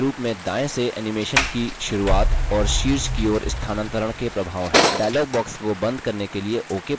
इसमें प्रगति के रूप में दायें से animation की शुरूआत और शीर्ष की ओर स्थानांतरण के प्रभाव हैं